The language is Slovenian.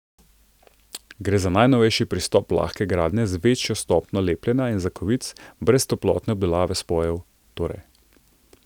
Gre za najnovejši pristop lahke gradnje z večjo stopnjo lepljenja in zakovic, brez toplotne obdelave spojev torej.